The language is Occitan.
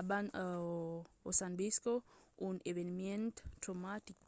abans o s’an viscut un eveniment traumatic